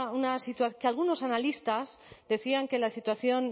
una situación que algunos analistas decían que la situación